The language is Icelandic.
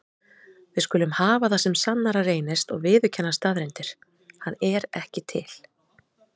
Við skulum hafa það sem sannara reynist og viðurkenna staðreyndir: hann er ekki til.